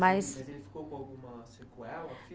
Mas ele ficou com alguma sequela?